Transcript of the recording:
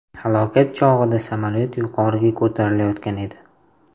Halokat chog‘ida samolyot yuqoriga ko‘tarilayotgan edi.